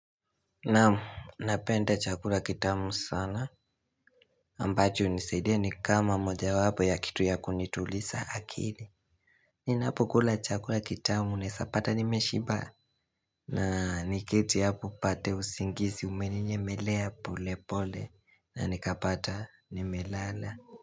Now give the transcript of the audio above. Naam napenda chakula kitamu sana ambacho hunisidia ni kama moja wapo ya kitu ya kunituliza akili Ninapo kula chakula kitamu unewezapata nimeshiba na niketi hapo pate usingizi umeninyemelea pole pole na nikapata nimelala.